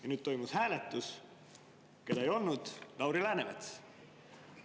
Ja nüüd toimus hääletus, keda ei olnud – Lauri Läänemets.